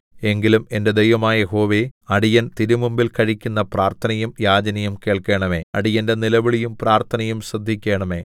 എങ്കിലും എന്റെ ദൈവമായ യഹോവേ അടിയൻ തിരുമുമ്പിൽ കഴിക്കുന്ന പ്രാർത്ഥനയും യാചനയും കേൾക്കേണമേ അടിയന്റെ നിലവിളിയും പ്രാർത്ഥനയും ശ്രദ്ധിക്കേണമേ